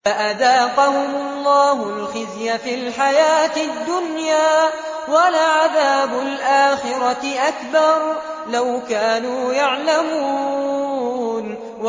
فَأَذَاقَهُمُ اللَّهُ الْخِزْيَ فِي الْحَيَاةِ الدُّنْيَا ۖ وَلَعَذَابُ الْآخِرَةِ أَكْبَرُ ۚ لَوْ كَانُوا يَعْلَمُونَ